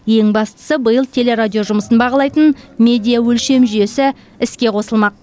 ең бастысы биыл телерадио жұмысын бағалайтын медиа өлшем жүйесі іске қосылмақ